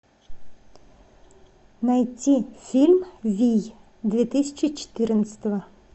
найти фильм вий две тысячи четырнадцатого